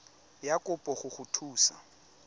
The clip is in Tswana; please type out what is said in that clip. ya kopo go go thusa